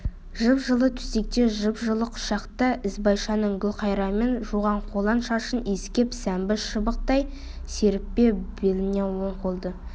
жып-жылы төсекте жып-жылы құшақта ізбайшаның гүлқайырмен жуған қолаң шашын иіскеп сәмбі шыбықтай серіппе беліне оң қолды